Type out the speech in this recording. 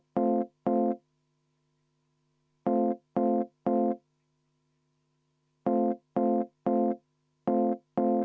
V a h e a e g